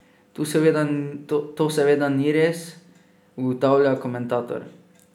To seveda ni res, ugotavlja komentator.